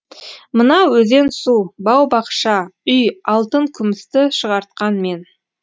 мына өзен су бау бақша үй алтын күмісті шығартқан мен